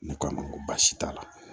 Ne ko a ma n ko baasi t'a la